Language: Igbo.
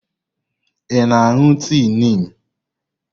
Ị na-aṅụ tii Niim?